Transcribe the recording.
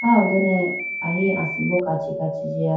ah ho done ahi asimbo kachi kachi jiya.